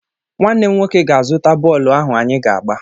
Nwanne m nwoke ga-azụta bọọlụ ahụ anyị ga-agba.